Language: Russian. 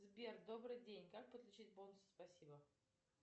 сбер добрый день как подключить бонусы спасибо